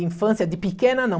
De infância, de pequena, não.